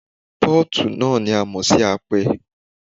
Pọ́ọ̀tì náà ni a mọ̀ sí apẹ.